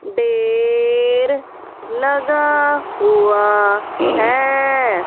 Der लगा हुआ है।